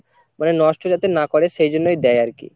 মানে নষ্ট যাতে না করে সেইজন্যই দেয় আরকি।